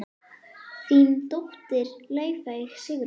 Þín dóttir, Laufey Sigrún.